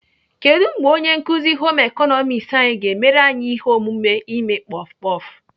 Kedụ mgbe onye nkuzi Home ịkọnọmiks anyị ga-emere anyị ihe omume ime kpọf kpọf?